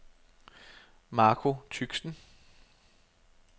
Marco Tychsen